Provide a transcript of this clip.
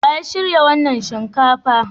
Wa ya shirya wannan shinkafa?